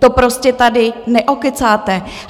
To prostě tady neokecáte.